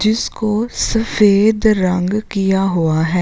जिसको सफेद रंग किया हुआ है।